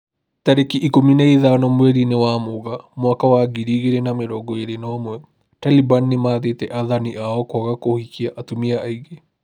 Tariki ikũmi na ithano mweri-inĩ wa Mũgaa mwaka wa ngiri igĩrĩ na mĩrongo ĩrĩ na ũmwe, Taliban nĩmathĩte athani ao kwaga kũhikia atumia aingĩ